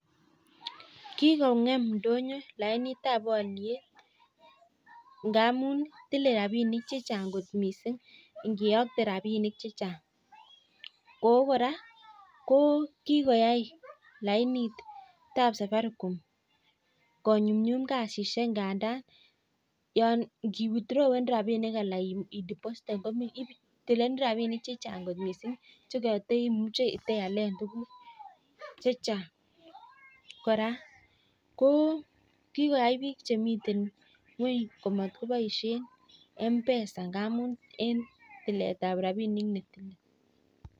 Kikong'em ndonyo lainitab oliet ngamun tilei rapinik chechan'g kot mising ngiyokte rapinik chechan'g. Ako kora ko kikoyai lainitab safaricom konyumnyum kasisiek ngandan ngi withrawen anan i depositen rapinik kotilenen rapinik chechan'g kot mising chekata taimuche iale tukuk chechan'g. Kora ko kiyoi biik chemitei ng'weny ko matkoboishe mpesa ngamun tiletab rapinik nemi.